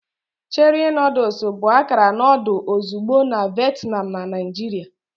Cherie noodles bụ akara noodle ozugbo na Vietnam na Naijiria.